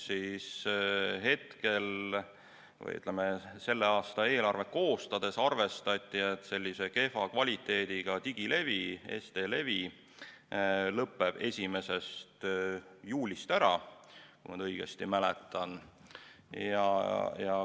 Selle aasta eelarvet koostades arvestati, et kehva kvaliteediga digilevi, SD-levi lõppeb 1. juulist ära, kui ma õigesti mäletan.